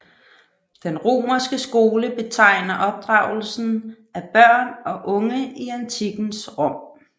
Den romerske skole betegner opdragelsen af børn og unge i antikkens Rom